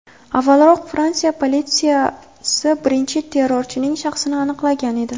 Avvalroq Fransiya politsiyasi birinchi terrorchining shaxsini aniqlagan edi.